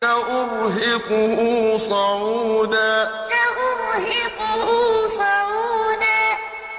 سَأُرْهِقُهُ صَعُودًا سَأُرْهِقُهُ صَعُودًا